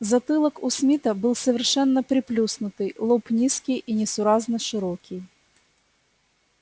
затылок у смита был совершенно приплюснутый лоб низкий и несуразно широкий